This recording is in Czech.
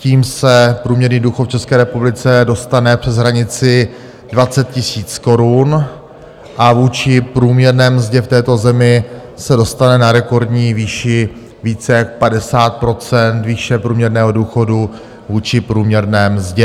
Tím se průměrný důchod v České republice dostane přes hranici 20 000 korun a vůči průměrné mzdě v této zemi se dostane na rekordní výši více jak 50 % výše průměrného důchodu vůči průměrné mzdě.